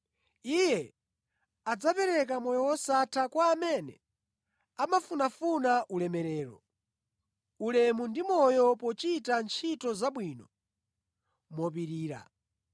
Iye adzapereka moyo wosatha kwa amene amafunafuna ulemerero, ulemu ndi moyo pochita ntchito zabwino mopirira.